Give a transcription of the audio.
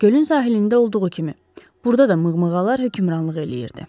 Gölün sahilində olduğu kimi, burda da mığmığalar hökmranlıq eləyirdi.